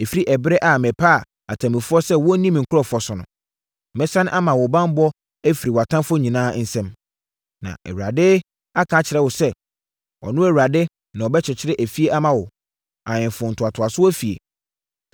ɛfiri ɛberɛ a mepaa atemmufoɔ sɛ wɔnni me nkurɔfoɔ so no. Mɛsane ama mo banbɔ afiri mo atamfoɔ nyinaa nsam. “ ‘Na Awurade aka akyerɛ wo sɛ, ɔno Awurade na ɔbɛkyekyere efie ama wo; ahemfo ntoatoasoɔ efie.